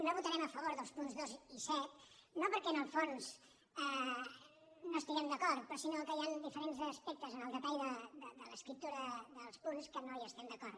no votarem a favor dels punts dos i set no perquè en el fons no hi estiguem d’acord sinó que hi han diferents aspectes en el detall de l’escriptura dels punts que no hi estem d’acord